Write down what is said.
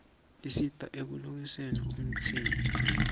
tisista ekulolgnqfni umtimba